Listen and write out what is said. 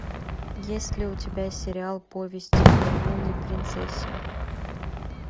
есть ли у тебя сериал повесть о лунной принцессе